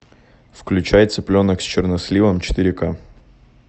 включай цыпленок с черносливом четыре к